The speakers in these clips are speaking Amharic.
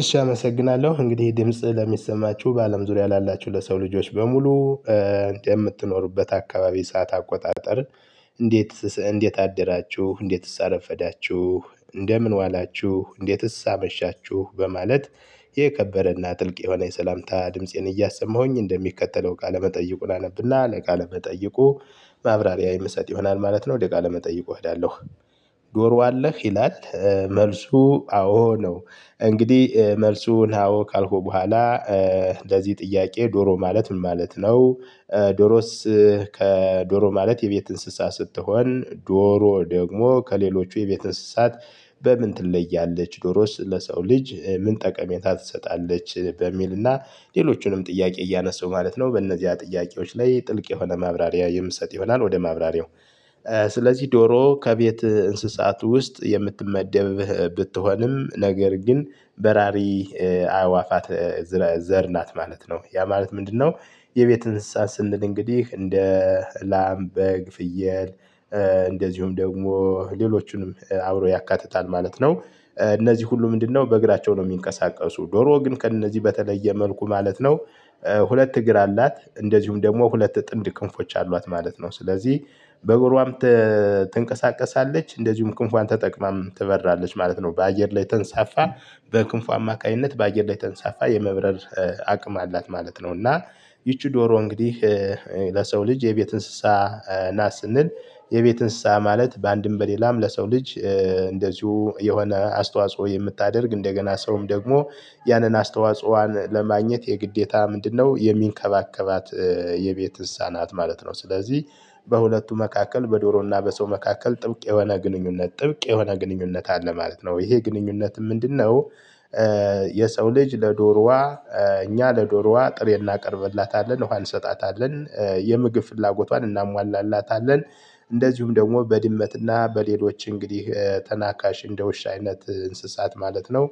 እሺ አመሰግናለሁ እንግዲህ ድምጽ ለሚሰማችሁ በአለም ዙሪያ ላላችሁ ለሰው ልጆች በሙሉ የምትኖሩበት አካባቢ ሰዓት አቆጣጠር። እንዴት አደራችሁ እንዴትስ አረፈዳችሁ? እንደምን ዋላችሁ? እንዴትስ አመሻችሁ? በማለት የከበረና ጥልቅ የሆነ የሰላምታ ድምፄን እያሰማሁኝ እንደሚከተለው ቃለመጠይቁን አነብና ለቃለመጠይቁ ማብራሪያ የምሰጥ ይሆናል ማለት ነው። ቃለመጠይቁ እወዳለሁ። ዶሮ አለ ይላል መልሱ አዎ ነው። እንግዲህ መልሱን አዎ ካልኩ በኋላ። ለዚህ ጥያቄ ዶሮ ማለት ምን ማለት ነው? ዶሮስ? ከዶሮ ማለት የቤት እንስሳ ስትሆን ዶሮ ደግሞ ከሌሎቹ የቤት እንስሳት። በምን ትለያለች? ዶሮ ለሰው ልጅ ምን ጠቀሜታ ትሰጣለች? በሚልና ሌሎቹንም ጥያቄ እያነሳው ማለት ነው። በእነዚህ ጥያቄዎች ላይ ጥልቅ የሆነ ማብራሪያ የምትሰጥ ይሆናል ወደ ማብራሪያው። ስለዚህ ዶሮ ከቤት እንስሳት ውስጥ የምትመደብህ ብትሆንም ነገር ግን በራሪ አዕዋፋት ዘር ናት ማለት ነው ያ ማለት ምንድነው? የቤት እንስሳ ስንል እንግዲህ እንደ ላም በግ ፍየል። እንደዚሁም ደግሞ ሌሎቹንም አብሮ ያካትታል ማለት ነው። እነዚህ ሁሉ ምንድነው በእግራቸው ነው የሚንቀሳቀሱ ዶሮ ግን ከእነዚህ በተለየ መልኩ ማለት ነው። ሁለት እግር አላት እንደዚሁም ደግሞ ሁለት ጥምድ ክንፎች አሏት ማለት ነው። ስለዚህ በእግሯም ትንቀሳቀሳለች እንደዚሁም ክንፏን ተጠቅማም ትበራለች ማለት ነው። በአየር ላይ ተንሳፍፋ በክንፉ አማካኝነት በአየር ላይ ተንሳፍፋ የመብረር አቅም አላት ማለት ነው። እና ይቺ ዶሮ እንግዲህ ለሰው ልጅ የቤት እንስሳ። ናት ስንል የቤት እንስሳ ማለት በአንድም በሌላም ለሰው ልጅ እንደዚሁ የሆነ አስተዋጽኦ የምታደርግ እንደገና ሰውም ደግሞ ያንን አስተዋጽኦዋን ለማግኘት የግዴታ ምንድነው የሚንከባከባት የቤት ህፃናት ማለት ነው። ስለዚህ በሁለቱ መካከል በዶሮና በሰው መካከል ጥብቅ የሆነ ግንኙነት አለ ማለት ነው። ይሄ ግንኙነት ምንድነው? የሰው ልጅ ለዶሮዋ እኛ ለዶሮዋ ጥሬ እናቀርብላታለን እንሰጣታለን የምግብ ፍላጎቷን እናሟላላታለን። እንደዚሁም ደግሞ በድመትና በሌሎች እንግዲህ ተናካሽ እንደ ውሻ አይነት እንስሳት ማለት ነው።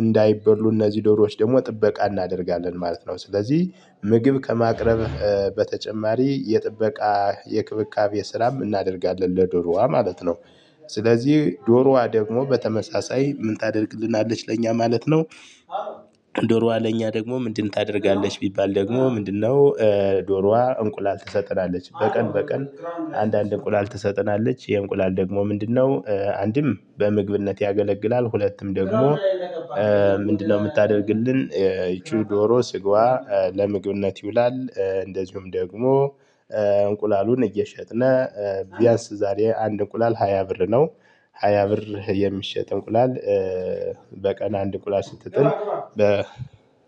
እንዳይበሉ እነዚህ ዶሮዎች ደግሞ ጥበቃ እናደርጋለን ማለት ነው። ስለዚህ ምግብ ከማቅረብህ በተጨማሪ የጥበቃ የክብካቤ ስራም እናደርጋለን ለዱርዋ ማለት ነው። ስለዚህ ዶሮዋ ደግሞ በተመሳሳይ ምን ታደርግልናለች ለእኛ ማለት ነው? ዶሮዋ ለኛ ደግሞ ምንድን ታደርጋለች ቢባል ደግሞ ምንድነው? ዶሮዋ እንቁላል ትሰጠናለች በቀን በቀን አንዳንድ እንቁላል ትሰጥናለች ይሄ እንቁላል ደግሞ ምንድነው አንድም በምግብነት ያገለግላል። ሁለቱም ደግሞ ምንድነው? የምታደርግልን ይቺው ዶሮ ስጋዋ ለምግብነት ይውላል። እንደዚሁም ደግሞ እንቁላሉን እየሸጥነ ቢያንስ ዛሬ አንድ እንቁላል ሃያ ብር ነው። ሃያ ብር የሚሸጥ እንቁላል። በቀን አንድ እንቁላል ስትጥል